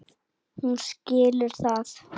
Hún skilur það.